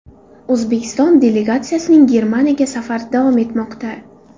O‘zbekiston delegatsiyasining Germaniyaga safari davom etmoqda.